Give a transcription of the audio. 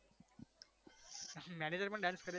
manager પણ dance કરે છે?